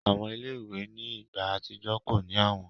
Awọn ile-iwe ni igba atijọ ko ni awọn